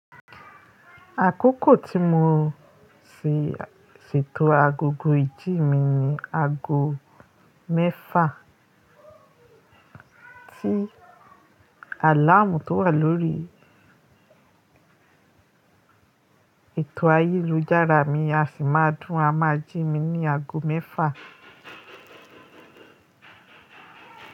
Àkókò tí mo ṣètò agogo ìjì mi ni ago mẹ́fà. Tí àláàmú tó wà lórí tò ayélujára mi, a sì máa dùn amajì mi ní ago mẹ́fà.